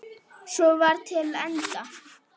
Svo var til enda.